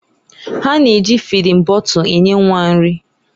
Ha na-eji fịdin bọtul enye nwa nri.